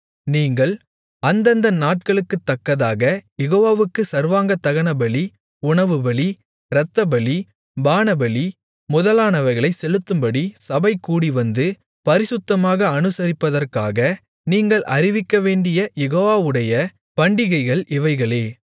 நீங்கள் அந்தந்த நாளுக்குத்தக்கதாகக் யெகோவாவுக்குச் சர்வாங்க தகனபலி உணவுபலி இரத்தபலி பானபலி முதலானவைகளைச் செலுத்தும்படி சபைகூடிவந்து பரிசுத்தமாக அனுசரிப்பதற்காக நீங்கள் அறிவிக்கவேண்டிய யெகோவாவுடைய பண்டிகைகள் இவைகளே